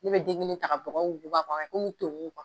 Ne bɛ den kelen ka bɔgɔ wuguba k'a kɛ komi tonkun